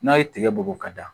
N'a ye tigɛ bugu ka da